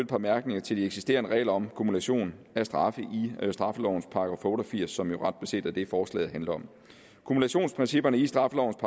par bemærkninger til de eksisterende regler om kumulation af straffe i straffelovens § otte og firs som ret beset er det forslaget handler om kumulationsprincipperne i straffelovens